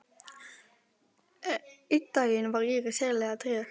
Einn daginn var Íris sérlega treg.